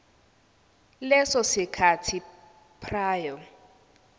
leso sikhathi prior